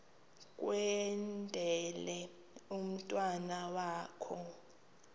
kwendele umntwana wakho